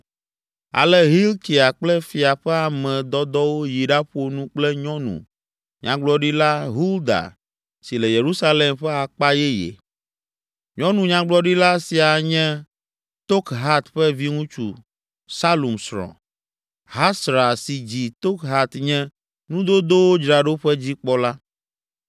Ale Hilkia kple fia ƒe ame dɔdɔwo yi ɖaƒo nu kple nyɔnu Nyagblɔɖila Hulda si le Yerusalem ƒe akpa yeye. Nyɔnu nyagblɔɖila sia nye Tokhat ƒe viŋutsu Salum srɔ̃. Hasra si dzi Tokhat nye nudodowo dzraɖoƒe dzikpɔla.